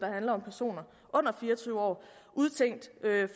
handler om personer under fire og tyve år udtænkt